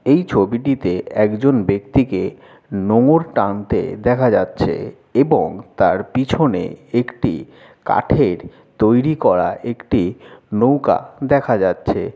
এই ছবিটিতে একজন ব্যাক্তিকে নোঙর টানতে দেখা যাছে এবং তার পিছনে একটি কাঠের তৈরী করা একটি নৌকা দেখা যাছে।